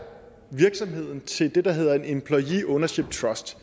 virksomheden til det der hedder en employee ownership trust